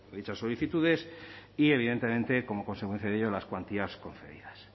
dichas solicitudes y evidentemente como consecuencia de ello las cuantías concedidas